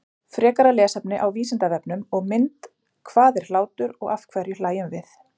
Frekara lesefni á Vísindavefnum og mynd Hvað er hlátur og af hverju hlæjum við?